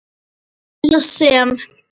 eða sem